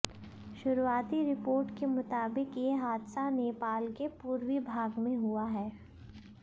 शुरुआती रिपोर्ट के मुताबिक ये हादसा नेपाल के पूर्वी भाग में हुआ है